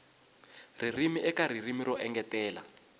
ririmi eka ririmi ro engetela